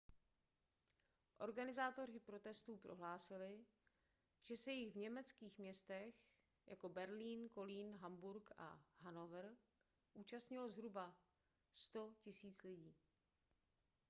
organizátoři protestů prohlásili že se jich v německých městech jako berlín kolín hamburg a hanover účastnilo zhruba 100 000 lidí